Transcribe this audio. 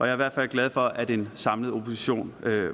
i hvert fald glad for at en samlet opposition